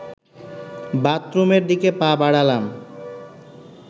বাথরুমের দিকে পা বাড়ালাম